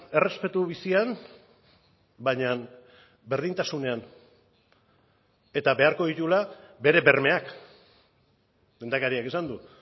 errespetu bizian baina berdintasunean eta beharko dituela bere bermeak lehendakariak esan du